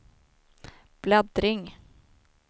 bläddring